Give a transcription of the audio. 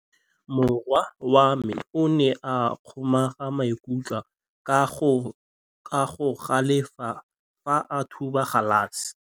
Morwa wa me o ne a kgomoga maikutlo ka go galefa fa a thuba galase.